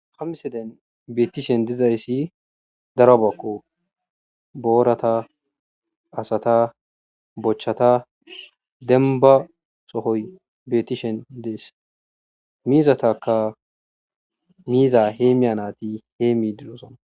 Hamseden beettishen dizayssi darabakko boorata asata bochchata denba sohoy beettishen dees miizatakka miiza hee miyanaati hee mi dilosona.